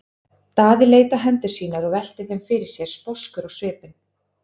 Daði leit á hendur sínar og velti þeim fyrir sér sposkur á svipinn.